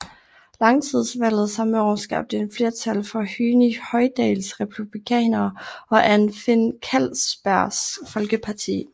Lagtingsvalget samme år skabte en flertal for Høgni Hoydals republikanere og Anfinn Kallsbergs Folkeparti